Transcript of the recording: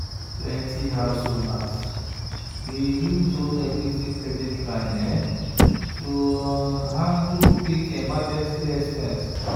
plenty house owners dey use home equity credit line to handle quick emergency expenses.